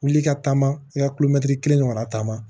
Wuli ka taama i ka kelen ɲɔgɔnna taamama